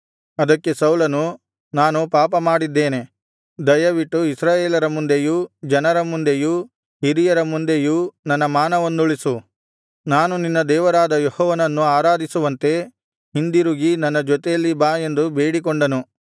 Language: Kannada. ಅದಕ್ಕೆ ಸೌಲನು ನಾನು ಪಾಪಮಾಡಿದ್ದೇನೆ ದಯವಿಟ್ಟು ಇಸ್ರಾಯೇಲರ ಮುಂದೆಯೂ ಜನರ ಮುಂದೆಯೂ ಹಿರಿಯರ ಮುಂದೆಯೂ ನನ್ನ ಮಾನವನ್ನುಳಿಸು ನಾನು ನಿನ್ನ ದೇವರಾದ ಯೆಹೋವನನ್ನು ಆರಾಧಿಸುವಂತೆ ಹಿಂದಿರುಗಿ ನನ್ನ ಜೊತೆಯಲ್ಲಿ ಬಾ ಎಂದು ಬೇಡಿಕೊಂಡನು